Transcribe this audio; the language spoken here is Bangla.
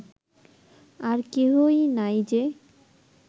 আর কেহই নাই যে